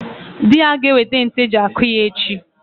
Dị ya ga-ewete ntu eji akụ ya echi.